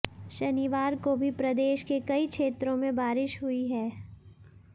शनिवार को भी प्रदेश के कई क्षेत्रों में बारिश हुई है